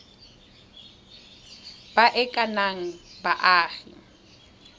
ba e ka nnang baagi